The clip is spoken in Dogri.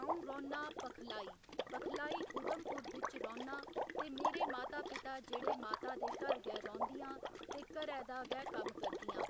अं'ऊ रौह्न्नां पखलाई पखलाई उधमपुर बिच रौह्न्नां ते मेरे माता पिता जेह्ड़े माता ते घर गै रौंह्दि‌यां ते घरै दा गै कम्म करदियां